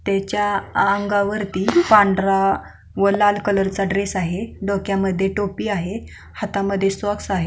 त्याच्या अंगावरती पांढरा व लाल कलर चा ड्रेस आहे डोक्यामध्ये टोपी आहे हातामध्ये सॉक्स आहेत.